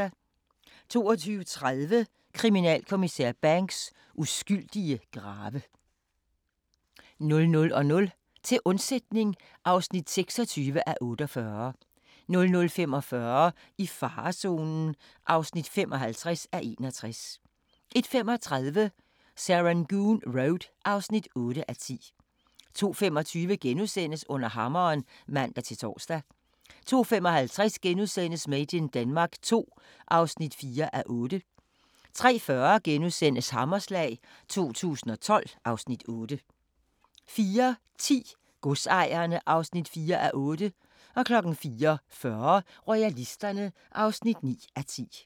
22:30: Kriminalinspektør Banks: Uskyldige grave 00:00: Til undsætning (26:48) 00:45: I farezonen (55:61) 01:35: Serangoon Road (8:10) 02:25: Under hammeren *(man-tor) 02:55: Made in Denmark II (4:8)* 03:40: Hammerslag 2012 (Afs. 8)* 04:10: Godsejerne (4:8) 04:40: Royalisterne (9:10)